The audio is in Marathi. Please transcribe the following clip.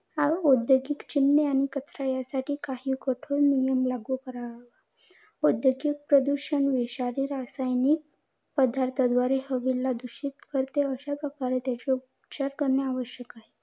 ओद्योगिक चिमण्या आणि कचरा यासाठी काही कठोर निर्णय लागू करावे. औद्योगिक प्रदूषण विषारी रासायनिक पदार्थाद्वारे हवेला दूषित करते अश्याप्रकारे उपचार करणं आवश्यक आहे.